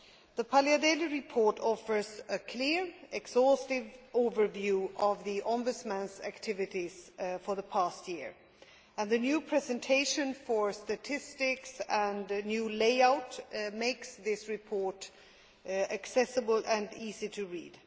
The Paliadeli report offers a clear, exhaustive overview of the Ombudsman's activities for the past year, and the new presentation for statistics and new layout makes this report accessible and easy to read.